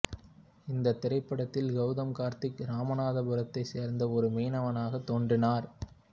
இந்தத் திரைப்படத்தில் கௌதம் கார்த்திக் இராமநாதபுரத்தைச் சேர்ந்த ஒரு மீனவனாகத் தோன்றினார்